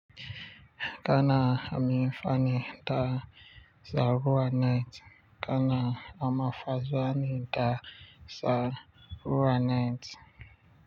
Kana amfani da sabuwar net, kana amfani da sabuwar.